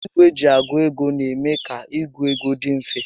Ìgwè eji a gụ ego n'eme ka ịgụ égo dị mfe